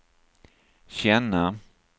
känna